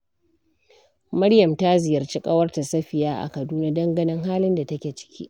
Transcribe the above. Maryam ta ziyarci ƙawarta Safiya a Kaduna don ganin halin da take ciki.